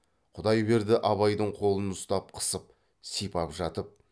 құдайберді абайдың қолын ұстап қысып сипап жатып